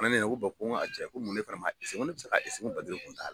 A fɛnɛ ne ɲininka ko bɔn n cɛ ko muna e fɛnɛ m'a eseye n ko ne te se k'a eseye ko babilen kun t'a la